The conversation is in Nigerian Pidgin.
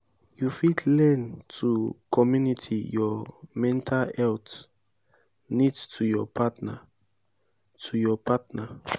you fit learn to community your mental health needs to your partner. to your partner.